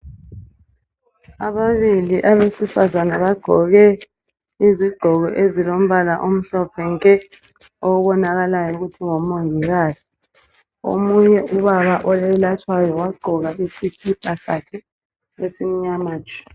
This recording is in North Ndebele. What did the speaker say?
Ababili abesifazane bagqoke izigqoko ezilombala omhlophe nke , okubonakalayo ukuthi ngomongikazi , omunye ubaba oyelatshwayo wagqoka isikipa sakhe esimnyama tshu